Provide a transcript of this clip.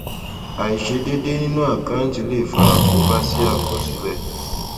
àìṣedédé nínú àkáǹtì lè fà àkóbá sí àkọsílẹ